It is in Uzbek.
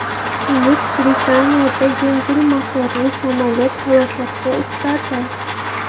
Buyuk Britaniyada yengil motorli samolyot halokatga uchradi.